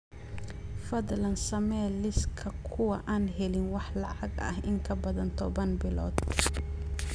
Fadlan samee liiska kuwa aan helin wax lacag ah in ka badan toban bilood